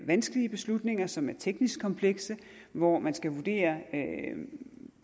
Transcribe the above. vanskelige beslutninger som er teknisk komplekse hvor man skal vurdere